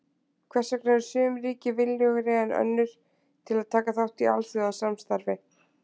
Hvers vegna eru sum ríki viljugri en önnur til að taka þátt í alþjóðasamstarfi?